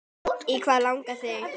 Í hvað langar þig?